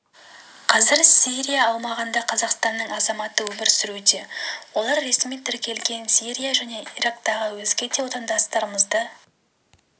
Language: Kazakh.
қазір сирия аумағында қазақстанның азаматы өмір сүруде олар ресми тіркелген сирия және ирактағы өзге де отандастарымызды